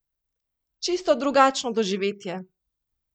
Čisto drugačno doživetje!